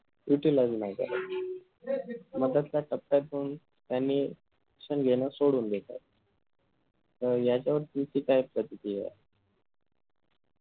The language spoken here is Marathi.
utilize नाही करायचं मधातल्या टप्प्यात जाऊन त्यांनी शिक्षण घेणं सोडून दिल त याच्यावर तुमची काय प्रतिक्रिया ए